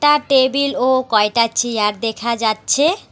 একটা টেবিল ও কয়টা চেয়ার দেখা যাচ্ছে।